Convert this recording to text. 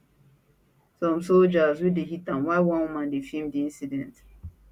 some soldiers wey dey hit am while one woman dey feem di incident